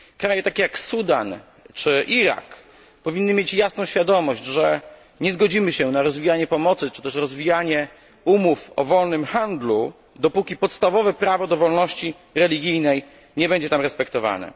Kraje takie, jak Sudan czy Irak, powinny mieć jasną świadomość, że nie zgodzimy się na rozwijanie pomocy czy też rozwijanie umów o wolnym handlu, dopóki podstawowe prawo do wolności religijnej nie będzie tam respektowane.